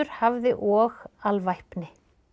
hafði og alvæpni